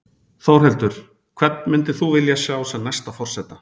Þórhildur: Hvern myndir þú vilja sjá sem næsta forseta?